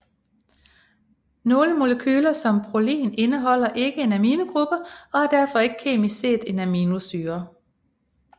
Nogle molekyler som prolin indeholder ikke en amingruppe og er derfor ikke kemisk set en aminosyre